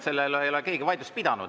Selle üle ei ole keegi vaidlust pidanud.